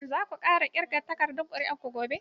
Shin zasu ƙirga takardun ƙuri'a gobe?